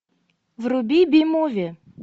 вруби би муви